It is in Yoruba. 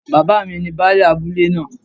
Bàbá mi ni Baálẹ̀ abúlé náà